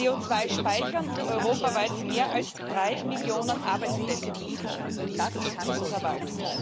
CO2 speichern und europaweit mehr als drei Millionen Arbeitsplätze sichern, das kann unser Wald.